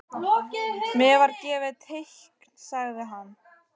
Mér var gefið teikn sagði hann.